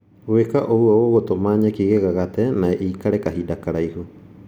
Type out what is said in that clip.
Gwĩka ũguo gũgũtũma nyeki igagate na ĩikare kahinda karaihu